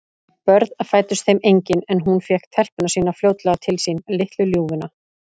Börn fæddust þeim engin, en hún fékk telpuna sína fljótlega til sín, litlu ljúfuna.